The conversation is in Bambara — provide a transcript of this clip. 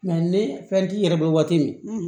ne fɛn t'i yɛrɛ bolo waati min